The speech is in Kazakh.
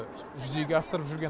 жүзеге асырып жүрген